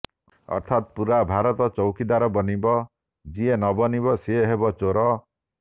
ଅର୍ଥାତ ପୁରା ଭାରତ ଚୌକିଦାର ବନିବ ଯିଏ ନ ବନିବ ସେ ହେବ ଚୋର